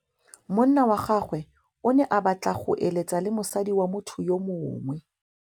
Monna wa gagwe o ne a batla go êlêtsa le mosadi wa motho yo mongwe.